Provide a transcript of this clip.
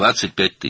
25.000.